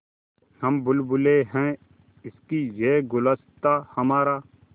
हम बुलबुलें हैं इसकी यह गुलसिताँ हमारा